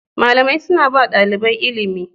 Malamai suna ba ɗalibai ilimi